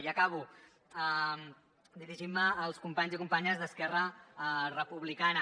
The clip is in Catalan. i acabo dirigint me als companys i companyes d’esquerra republicana